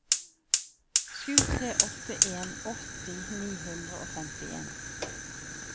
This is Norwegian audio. sju tre åtte en åtti ni hundre og femtien